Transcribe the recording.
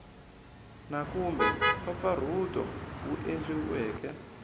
na kumbe mpfampfarhuto wu endliweke